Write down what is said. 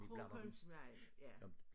Krogholmsvej ja